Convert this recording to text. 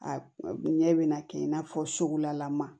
A ɲɛ bɛ na kɛ i n'a fɔ sugulama